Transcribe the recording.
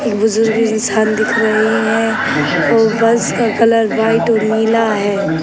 बुज़ुर्ग इंसान दिख रही है और बस का कलर व्हाइट और नीला है।